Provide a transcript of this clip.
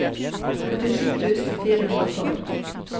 førtisju tusen fire hundre og tolv